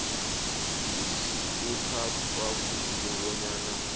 kuthathwa khulu bonyana